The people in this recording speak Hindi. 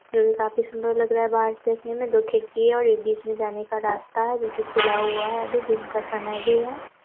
जोकि काफ़ी सुन्दर लग रहा है बाहर से देखने में। दो खिड़की है और एक बीच में जाने का रास्ता है जो कि खुला हुआ है। अभी दिन का समय भी है।